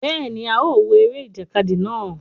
Béèni, a o wo eré ìjàkadì náà